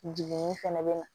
Jiginni fɛnɛ bɛ na